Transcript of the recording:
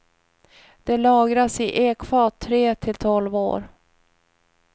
Det lagras i ekfat tre till tolv år.